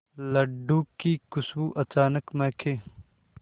लड्डू की खुशबू अचानक महके